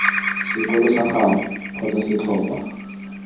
sekolo sag ago kgotsa setlhopha